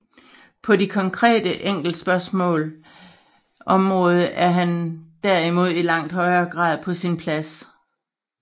På de konkrete enkeltspørgsmaals område er han derimod i langt højere grad på sin plads